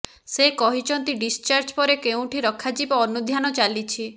ସେ କହିଛନ୍ତି ଡିସ୍ଚାର୍ଜ ପରେ କେଉଁଠି ରଖାଯିବ ଅନୁଧ୍ୟାନ ଚାଲିଛି